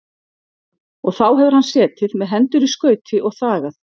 Og þá hefur hann setið með hendur í skauti og þagað.